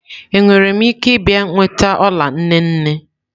Enwere m ike ịbịa nweta ọla nne nne?